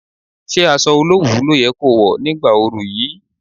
Ṣé aṣọ olowu ló yẹ ko wọ̀ ní ìgbà oru yìí?